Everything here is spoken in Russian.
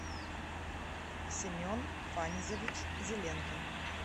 семен фанизович зеленкин